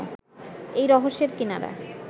এই রহস্যের কিনারা